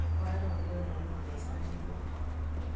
Abwati rariot ne ng'un eng' sait tugul